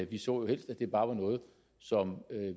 vi så jo helst at det bare var noget som